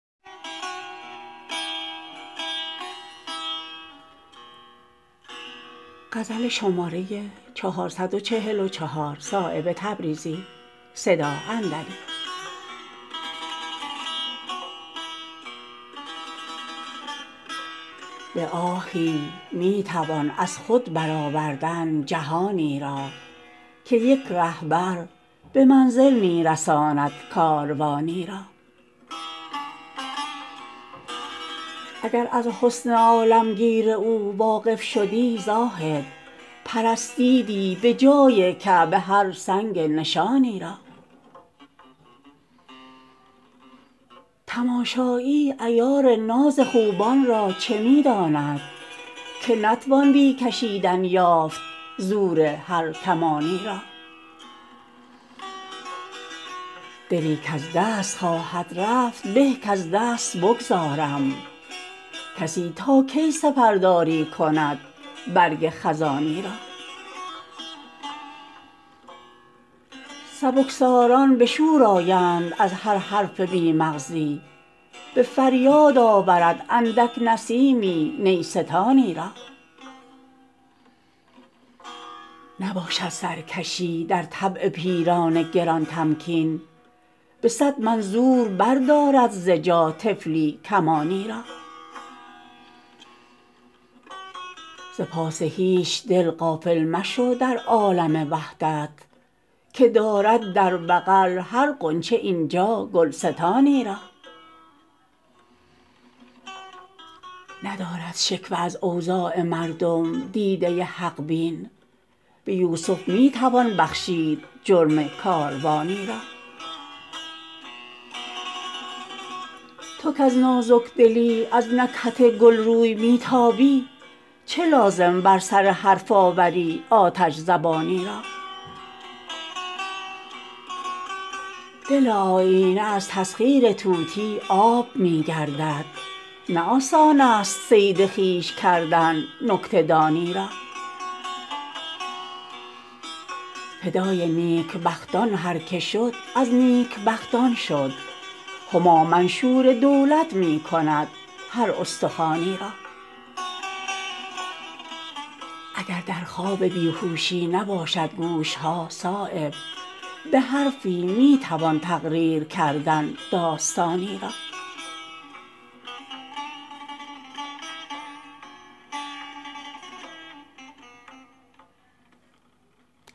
به آهی می توان از خود برآوردن جهانی را که یک رهبر به منزل می رساند کاروانی را اگر از حسن عالمگیر او واقف شدی زاهد پرستیدی به جای کعبه هر سنگ نشانی را تماشایی عیار ناز خوبان را چه می داند که نتوان بی کشیدن یافت زور هر کمانی را دلی کز دست خواهد رفت به کز دست بگذارم کسی تا کی سپرداری کند برگ خزانی را سبکساران به شور آیند از هر حرف بی مغزی به فریاد آورد اندک نسیمی نیستانی را نباشد سرکشی در طبع پیران گران تمکین به صد من زور بردارد ز جا طفلی کمانی را ز پاس هیچ دل غافل مشو در عالم وحدت که دارد در بغل هر غنچه اینجا گلستانی را ندارد شکوه از اوضاع مردم دیده حق بین به یوسف می توان بخشید جرم کاروانی را تو کز نازکدلی از نکهت گل روی می تابی چه لازم بر سر حرف آوری آتش زبانی را دل آیینه از تسخیر طوطی آب می گردد نه آسان است صید خویش کردن نکته دانی را فدای نیک بختان هر که شد از نیک بختان شد هما منشور دولت می کند هر استخوانی را اگر در خواب بیهوشی نباشد گوش ها صایب به حرفی می توان تقریر کردن داستانی را